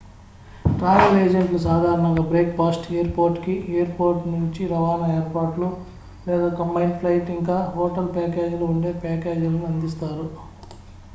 travel ఏజెంట్లు సాధారణంగా breakfast airport కి /ఎయిర్ పోర్ట్ నుంచి రవాణా ఏర్పాట్లు లేదా కంబైన్డ్ ఫ్లైట్ ఇంకా హోటల్ ప్యాకేజీలు ఉండే ప్యాకేజీలను అందిస్తారు